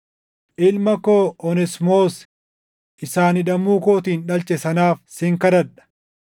ilma koo Oneesimoos isa ani hidhamuu kootiin dhalche sanaaf sin kadhadha.